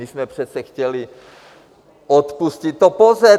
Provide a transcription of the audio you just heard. My jsme přece chtěli odpustit to POZE.